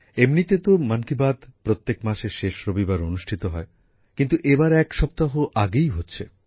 এমনিতে তো মন কি বাত প্রত্যেক মাসের শেষ রবিবার অনুষ্ঠিত হয় কিন্তু এবার এক সপ্তাহ আগেই হচ্ছে